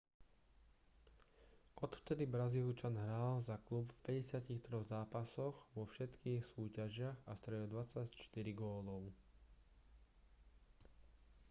odvtedy brazílčan hral za klub v 53 zápasoch vo všetkých súťažiach a strelil 24 gólov